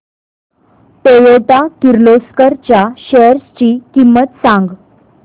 Toyota Kirloskar च्या shares ची किंमत सांग